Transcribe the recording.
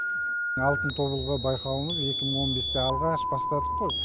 алтын тобылғы байқауымыз екі мың он бесте алғаш бастадық қой